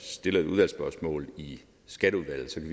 stiller et udvalgsspørgsmål i skatteudvalget